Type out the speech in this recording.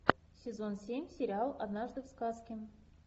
сезон семь сериал однажды в сказке